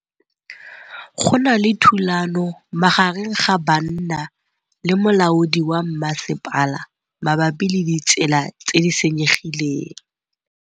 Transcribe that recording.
Go na le thulanô magareng ga banna le molaodi wa masepala mabapi le ditsela tse di senyegileng.